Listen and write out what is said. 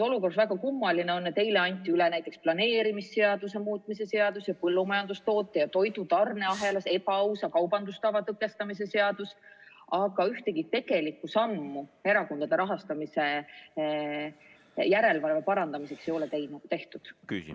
On väga kummaline, et eile anti üle näiteks planeerimisseaduse muutmise seadus ja põllumajandustoote ja toidu tarneahelas ebaausa kaubandustava tõkestamise seadus, aga ühtegi tegelikku sammu erakondade rahastamise järelevalve parandamiseks ei ole tehtud.